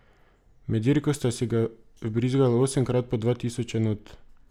Med dirko sta si ga vbrizgala osemkrat po dva tisoč enot.